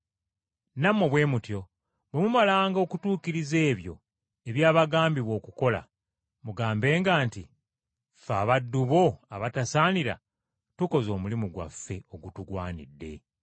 Nammwe bwe mutyo bwe mumalanga okutuukiriza ebyo ebyabagambibwa okukola, mugambenga nti, ‘Ffe abaddu bo abatasaanira tukoze omulimu gwaffe ogutugwanidde.’ ”